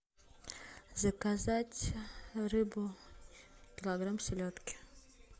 заказать рыбу килограмм селедки